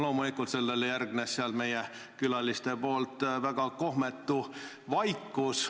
Loomulikult järgnes sellele väga kohmetu vaikus meie külaliste seas.